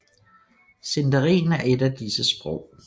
Sindarin er et af disse sprog